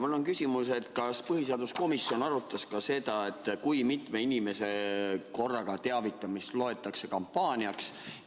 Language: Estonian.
Mul on küsimus: kas põhiseaduskomisjon arutas ka seda, kui mitme inimese korraga teavitamist loetakse kampaaniaks?